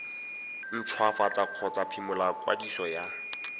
ntshwafatsa kgotsa phimola kwadiso ya